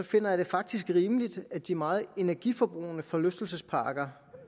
finder jeg det faktisk rimeligt at de meget energiforbrugende forlystelsesparker